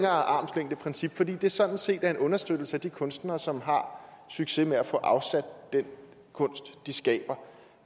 armslængdeprincip fordi det sådan set er en understøttelse af de kunstnere som har succes med at få afsat den kunst de skaber